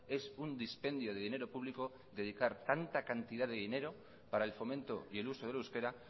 es un dispendio de dinero público dedicar tanta cantidad de dinero para el fomento y el uso del euskera